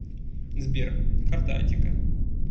сбер карта аттика